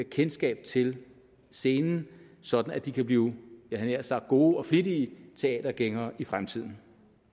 kendskab til scenen sådan at de kan blive jeg havde nær sagt gode og flittige teatergængere i fremtiden